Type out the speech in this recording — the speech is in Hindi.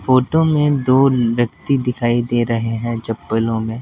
फोटो में दो व्यक्ति दिखाई दे रहे हैंजप्पलों में--